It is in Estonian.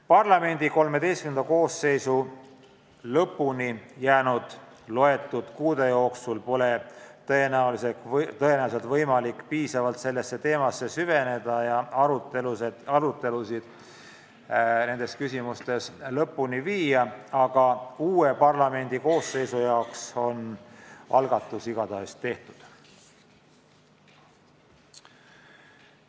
Parlamendi XIII koosseisu ametiaja lõpuni jäänud mõne kuu jooksul pole tõenäoliselt võimalik piisavalt sellesse teemasse süveneda ja arutelusid lõpuni viia, aga uue koosseisu jaoks on algatus igatahes tehtud.